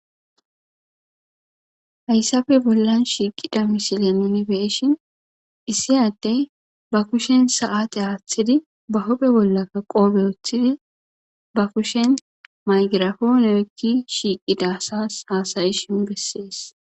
Hayisappe bollan shiqidi misile nuni be'ishin issi adde ba kushen sate atidi ba huphe bollaka qophe wotidi mayigirafone oyiqidi basi hasayishe besees